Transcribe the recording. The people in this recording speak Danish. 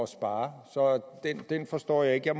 spare så den forstår jeg ikke